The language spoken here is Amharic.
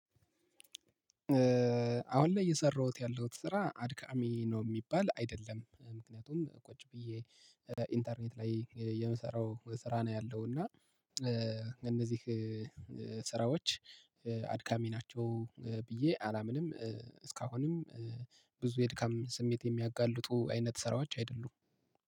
አሁን ላይ የሰራሁት ያለሁት ስራ አድካሚ ነው የሚባል አይደለም ምክንያቱም ቁጭ ብዬ ኢንተርኔት ላይ የምሰራው ስራ ነው ያለው እና። እነዚህ ስራዎች አድካሚ ናቸው ብዬ አላምንም። እስካሁንም ብዙ የድካም ስሜት የሚያጋልጡ አይነት ስራዎች አይደሉም።